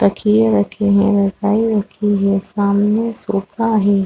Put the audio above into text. तकिये रखे हैरजाई रखी है सामने सोफा है।